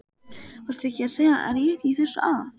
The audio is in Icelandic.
Varstu ekki að segja rétt í þessu að?